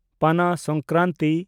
Pana Sankranti